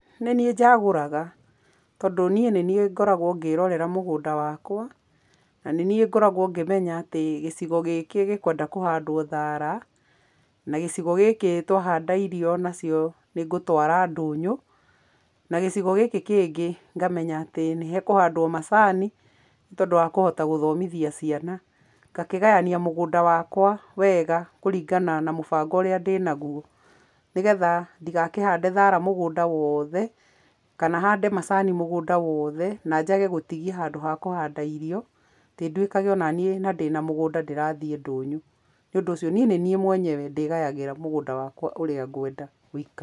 Nĩ niĩ njagũraga, tondũ nĩ niĩ ngoragwo ngĩrorera mũgũnda wakwa, na nĩ niĩ ngoragwo ngĩmenya atĩ gĩcigo gĩkĩ gĩkwenda kũhandwo thara, na gĩcigo gĩkĩ twahanda irio nacio nĩ ngũtwara ndũnyũ, na gĩcigo gĩkĩ kĩngĩ ngamenya atĩ nĩ hakũhandwo macani, nĩ tondũ wa kũhota gũthomithia ciana, ngakĩgayania mũgũnda wakwa wega kũringana na mũbango ũrĩa ndĩnagwo, nĩgetha ndĩgakĩhande thara mũgũnda wothe, kana hande macani mũgũnda wothe, na njage gũtigia handũ ha kũhanda irio, atĩ nduĩkage onanĩ na ndĩna mũgũnda ndĩrathiĩ ndũnyũ, nĩ ũndũ ũcio niĩ nĩ niĩ mwenyewe ndĩgayagĩra mũgũnda wakwa ũrĩa ngwenda ũikare.